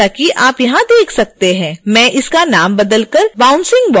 मैं इस नाम को बदल कर bouncingball कर दूंगी